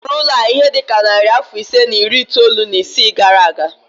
E wuru ụlọ a ihe dị ka narị afọ ise na iri itoolu na isii gara aga